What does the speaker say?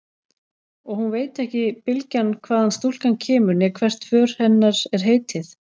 Og hún veit ekki bylgjan hvaðan stúlkan kemur né hvert för hennar er heitið.